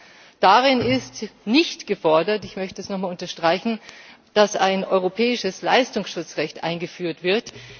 1. Darin ist nicht gefordert ich möchte das noch mal unterstreichen dass ein europäisches Leistungsschutzrecht eingeführt wird.